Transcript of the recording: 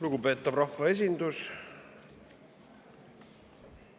Lugupeetav rahvaesindus!